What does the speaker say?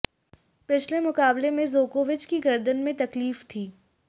पिछले मुकाबले में जोकोविच की गर्दन में तकलीफ थी